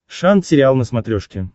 шант сериал на смотрешке